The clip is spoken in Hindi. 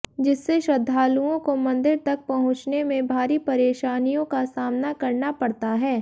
जिससे श्रद्धालुओं को मंदिर तक पहुंचने में भारी परेशानियों का सामना करना पड़ता है